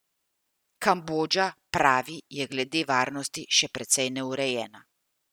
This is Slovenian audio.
Kambodža, pravi, je glede varnosti še precej neurejena.